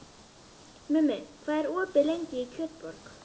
Mummi, hvað er opið lengi í Kjötborg?